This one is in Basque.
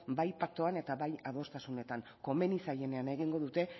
bai paktuan eta bai adostasunetan komeni zaienean egingo duten